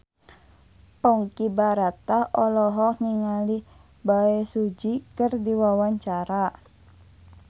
Ponky Brata olohok ningali Bae Su Ji keur diwawancara